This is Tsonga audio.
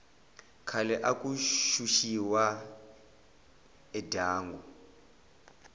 khale aku xuxiwa endyangu